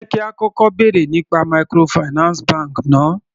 Jẹ́ kí á kọ́kọ́ bèrè nípa microfinance bank náà.